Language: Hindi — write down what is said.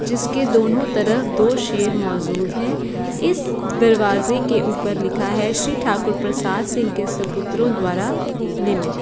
जिसकी दोनों तरफ दो शेर मोजूद है इस दरवाजे के ऊपर लिखा है श्री ठाकुर प्रसाद सिंह के सपुत्रों द्वारा निमित ।